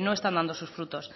no están dando sus frutos